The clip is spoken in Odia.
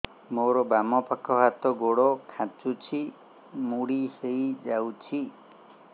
ମୋର ବାମ ପାଖ ହାତ ଗୋଡ ଖାଁଚୁଛି ମୁଡି ହେଇ ଯାଉଛି